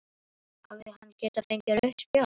Hefði hann geta fengið rautt spjald?